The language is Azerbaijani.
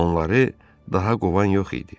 Onları daha qovan yox idi.